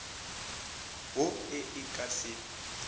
wo e e ka se